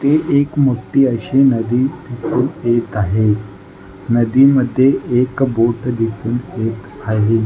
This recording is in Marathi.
ही एक मोठी अशी नदी दिसून येत आहे नदीमध्ये एक बोट दिसून येत आहे.